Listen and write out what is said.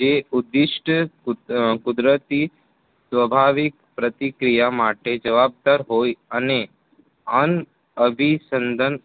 જે ઉદિષ્ટ કુદરતી સ્વભાવિક પ્રતિક્રિયા માટે જવાબદાર હોય અને અનઅભી સંદન